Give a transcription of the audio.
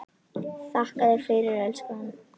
Þakka þér fyrir, elskan.